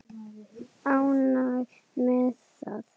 Ánægður með það?